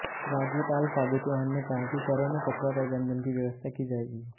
राज्यपाल फागु चौहान ने कहा कि शहरों में कचरा प्रबंधन की व्यवस्था की जाएगी